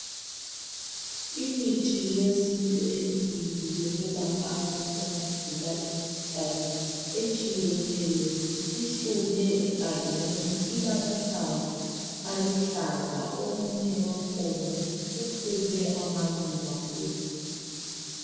Imithi yesintu emibili yokwelapha abantu abagula imikhuhlane etshiyeneyo ihlume egangeni ilamahlamvu aluhlaza omunye wakhona uphume amaluba phezulu